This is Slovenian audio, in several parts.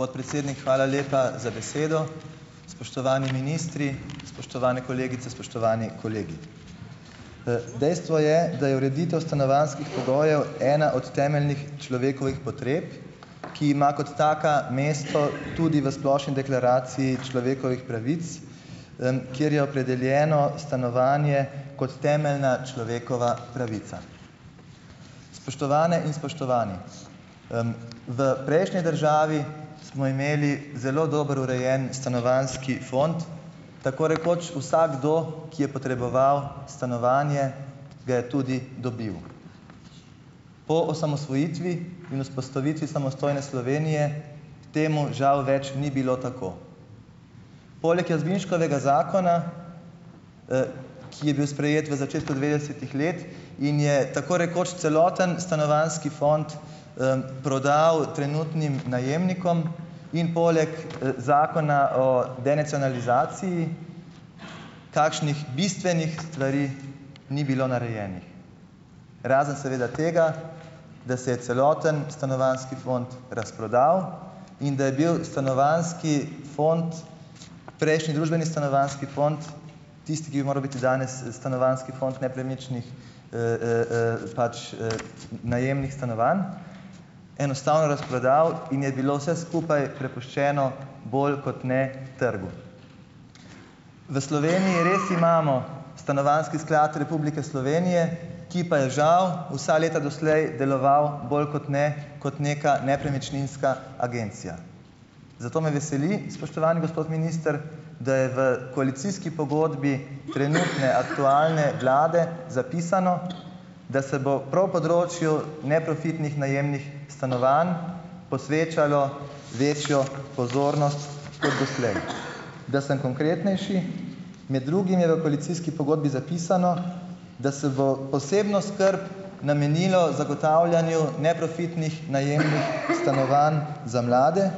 Podpredsednik, hvala lepa za besedo. Spoštovani ministri, spoštovane kolegice, spoštovani kolegi! Dejstvo je, da je ureditev stanovanjskih pogojev ena od temeljnih človekovih potreb, ki ima kot taka mesto tudi v splošni deklaraciji človekovih pravic, kjer je opredeljeno stanovanje kot temeljna človekova pravica. Spoštovane in spoštovani! V prejšnji državi smo imeli zelo dobro urejen stanovanjski fond. Tako rekoč vsakdo, ki je potreboval stanovanje, ga je tudi dobil. Po osamosvojitvi in vzpostavitvi samostojne Slovenije temu žal več ni bilo tako. Poleg Jazbinškovega zakona, ki je bil sprejet v začetku devetdesetih let in je tako rekoč celoten stanovanjski fond, prodal trenutnim najemnikom in poleg, zakona o denacionalizaciji kakšnih bistvenih stvari ni bilo narejenih, razen seveda tega, da se je celoten stanovanjski fond razprodal, in da je bil stanovanjski fond, prejšnji družbeni stanovanjski fond tisti, ki bi moral biti danes, stanovanjski fond nepremičnih, pač, najemnih stanovanj, enostavno razprodal in je bilo vse skupaj prepuščeno bolj kot ne trgu. V Sloveniji res imamo Stanovanjski sklad Republike Slovenije, ki pa je žal vsa leta doslej deloval bolj kot ne kot neka nepremičninska agencija. Zato me veseli, spoštovani gospod minister, da je v koalicijski pogodbi trenutne aktualne vlade zapisano, da se bo prav področju neprofitnih najemnih stanovanj posvečalo večjo pozornost kot doslej. Da sem konkretnejši, med drugim je v koalicijski pogodbi zapisano, da se bo posebno skrb namenilo zagotavljanju neprofitnih najemnih stanovanj za mlade,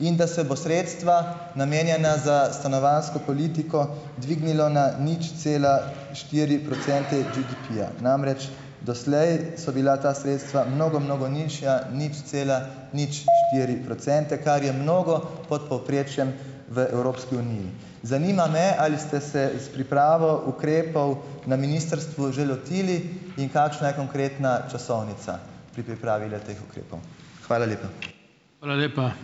in da se bo sredstva, namenjena za stanovanjsko politiko dvignilo na nič cela štiri procente GDP-ja. Namreč doslej so bila ta sredstva mnogo mnogo nižja, nič cela nič štiri procente, kar je mnogo pod povprečjem v Evropski uniji. Zanima me: Ali ste se s pripravo ukrepov na ministrstvu že lotili in kakšna je konkretna časovnica pri pripravi le-teh ukrepov? Hvala lepa.